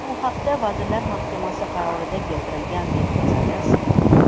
Bu haqda Vazirlar Mahkamasi qarorida keltirilgan , deb yozadi Spot.